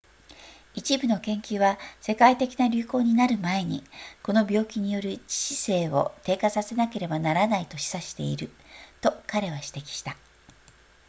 一部の研究は世界的な流行になる前にこの病気による致死性を低下させなければならないと示唆していると彼は指摘した